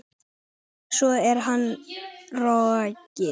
Svo er hann rokinn.